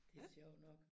Det sjovt nok